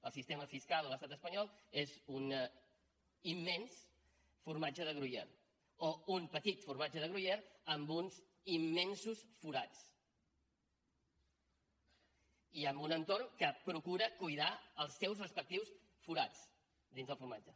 el sistema fiscal a l’estat espanyol és un immens formatge de gruyère o un petit formatge de gruyère amb uns immensos forats i amb un entorn que procura cuidar els seus respectius forats dins del formatge